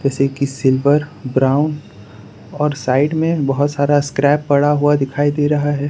से की silver brown और साइड में बहुत सारा स्क्रैप पड़ा हुआ दिखाई दे रहा है।